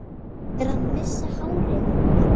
Ég er að missa hárið.